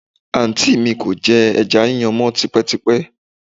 Àǹtí mi kò jẹ ẹja yíyan mọ́ tipẹ́tipẹ́